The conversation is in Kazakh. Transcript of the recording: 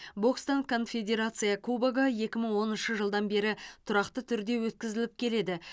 бокстан конфедерация кубогы екі мың оныншы жылдан бері тұрақты түрде өткізіліп келеді